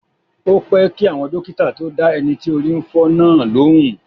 Ó pẹ́ kí àwọn dókítà tó dá ẹni tí orí ń fọ́ náà lóhùn.